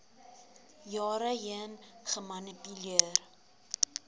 jare heen gemanipuleer